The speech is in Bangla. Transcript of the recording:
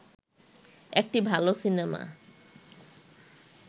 একটি ভালো সিনেমা